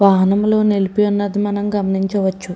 వాహనం నిలిపి ఉన్నది మనం గమనించవచ్చు.